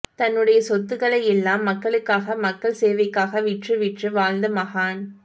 தன்னுடைய சொத்துக்களை எல்லாம் மக்களுக்காக மக்கள் சேவைக்காக விற்று விற்று வாழ்ந்த மகான்